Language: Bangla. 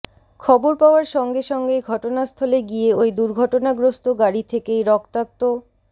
খবর পাওয়ার সঙ্গে সঙ্গেই ঘটনাস্থলে গিয়ে ওই দুর্ঘটনাগ্রস্ত গাড়ি থেকেই রক্তাক্ত